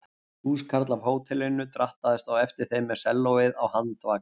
Húskarl af hótelinu drattaðist á eftir þeim með sellóið á handvagni.